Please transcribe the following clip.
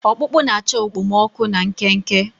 Ọkpụkpụ na-achọ okpomọkụ na nkenke.